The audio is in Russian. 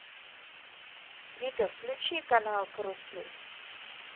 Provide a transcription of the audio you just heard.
вика включи канал карусель